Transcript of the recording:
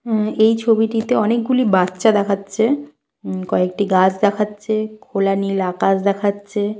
উম এই ছবিটিতে অনেকগুলি বাচ্চা দেখাচ্ছে। উম কয়েকটি গাছ দেখাচ্ছে। খোলা নীল আকাশ দেখাচ্ছে।